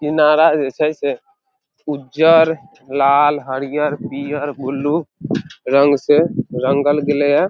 किनारा जे छै से उजर लाल हरियर पियर बुलु रंग से रंगल गेले या।